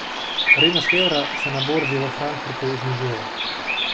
Vrednost evra se na borzi v Frankfurtu znižuje.